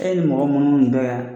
E ye mɔgɔ munnu dɔn ya